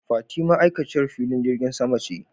Fati ma'aikaciyar filin jirgin sama ce.